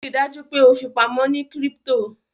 Ríi dájú pe o fipamọ ní crypto